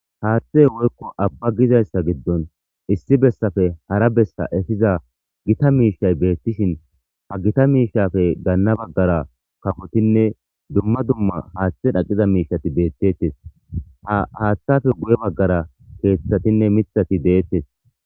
haaththe woykko abba gizayssa giddon issi bessafe hara bessa efiza gita miishay beettishin ha gita miishafe gaanna baggara kafotinne dumma dumma haaththe dhaqiza miishati beettettes haaththafe guye baggara keeththatinne mithati deettes